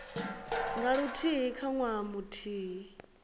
nga luthihi kha ṅwaha muthihi